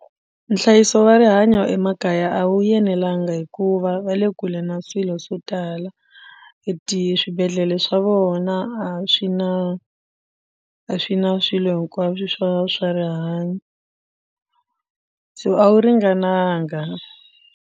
Nhlayiso wa rihanyo emakaya a wu yenelanga hikuva va le kule na swilo swo tala i ti swibedhlele swa vona a swi na a swi na swilo hinkwaswo swa swa rihanyo so a wu ringananga.